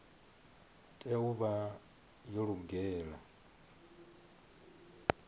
tea u vha yo lugela